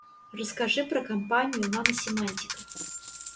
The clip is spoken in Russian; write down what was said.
расскажи про компанию наносемантика